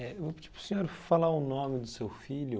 Eu vou pedir para o senhor falar o nome do seu filho.